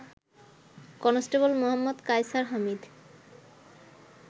Constable Md. Kaiser Hamid